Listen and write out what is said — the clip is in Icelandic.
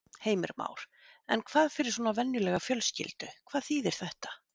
Heimir Már: En hvað fyrir svona venjulega fjölskyldu, hvað þýðir þetta?